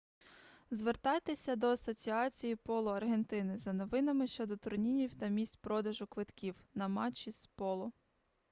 звертайтеся до асоціації поло аргентини за новинами щодо турнірів та місць продажу квитків на матчі з поло